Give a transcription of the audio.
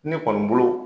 Ne kɔni bolo